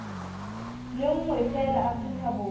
le nngwe feela afrika borwa